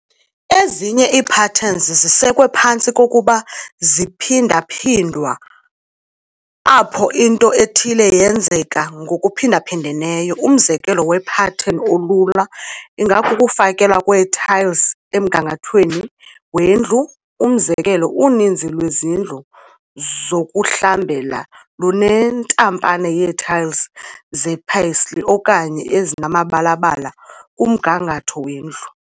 Ezinye iipatterns zisekwe phantsi kokuba ziphindwaphindwa, apho into ethile yenzeka ngokuphindaphindeneyo. Umzekelo wepartten olula ingakukufakelwa kwee-tiles emgangathweni wendlu. Umzekelo, uninzi lwezindlu zokuhlambela lunentaphane yee-tiles zepaisley okanye ezimabalabala kumgangatho wendlu.